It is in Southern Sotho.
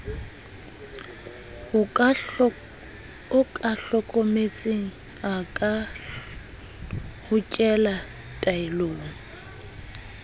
okametseng a ka hokela taelong